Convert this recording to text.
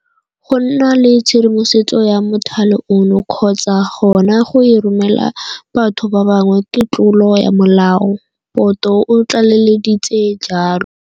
Go nna le tshedimosetso ya mothale ono kgotsa gona go e romela batho ba bangwe ke tlolo ya molao, Poto o tlaleleditse jalo.